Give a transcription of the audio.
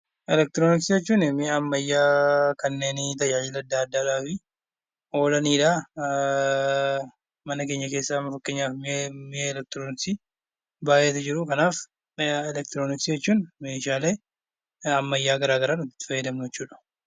Elektirooniksii jechuun mi'a ammayyaa kanneen tajaajila adda addaadhaafi oolanidha. Mana keenya keessaa fakkeenyaaf mi'a elektirooniksii baay'eetu jiru. Kanaaf mi'a elektirooniksii jechuun meeshaalee ammayyaa gara garaa itti fayyadamnu jechuudha.